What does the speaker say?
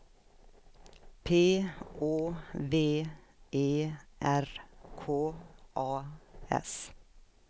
P Å V E R K A S